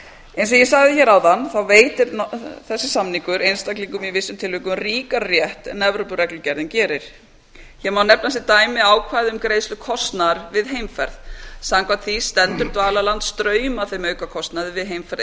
eins og ég sagði áðan veitir þessi samningur einstaklingum í vissum tilvikum ríkari rétt en evrópureglugerðin gerir hér má nefna sem dæmi ákvæði um greiðslu kostnaðar við heimferð samkvæmt því stendur dvalarland straum af þeim aukakostnaði við heimferð